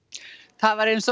það var eins